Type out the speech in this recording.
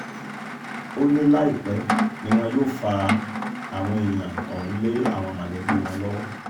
ó ní láìpẹ́ ni wọn yóò fa àwọn èèyàn ọ̀hún lé àwọn mọ̀lẹ́bí wọn lọ́wọ́